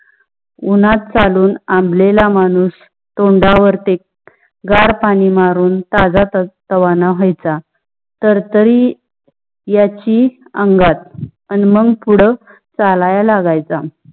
उन्हात चालून आंबलेले मानुस तोंडा वरती गार पाणी मारुन ताजा रवाना व्हायचा. तर तारी यायची अंगात आणि मग पुड चालायला लागायचा.